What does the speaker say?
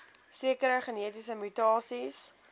sekere genetiese mutasies